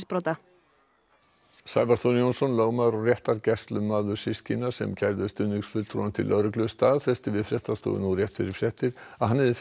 Sævar Þór Jónsson lögmaður og réttargæslumaður systkina sem kærðu stuðningsfulltrúann til lögreglu staðfesti við fréttastofu nú rétt fyrir fréttir að hann hafi fengið upplýsingar